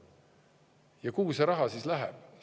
Ja kuhu see raha läheb?